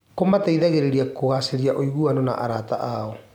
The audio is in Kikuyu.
Kũmateithagia kũgacĩrithia ũiguano na arata ao.